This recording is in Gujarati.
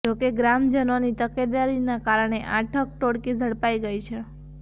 જોકે ગ્રામજનોની તકેદારીનાં કારણે આ ઠગ ટોળકી ઝડપાઇ ગઇ છે